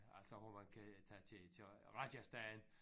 Altså hvor man kan tage til til Rajasthan